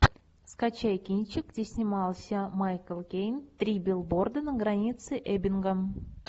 скачай кинчик где снимался майкл кейн три билборда на границе эббинга